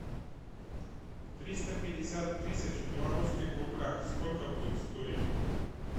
триста пятьдесят тысяч в белорусских рублях сколько будет стоить